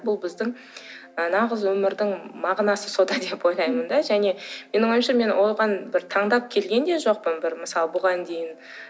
бұл біздің нағыз өмірдің мағынасы сонда деп ойлаймын да және менің ойымша мен оған бір таңдап келген де жоқпын бір мысалы бұған дейін